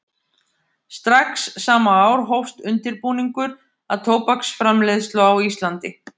Strax sama ár hófst undirbúningur að tóbaksframleiðslu á Íslandi.